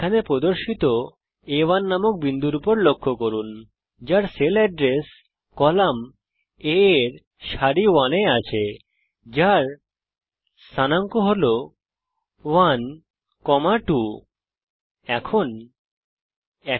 এখানে প্রদর্শিত আ1 নামক বিন্দুর উপর লক্ষ্য করুন যা 1 2 স্থানাঙ্ক এর সঙ্গে সেল এড্রেস কলাম A সারি 1 এ আছে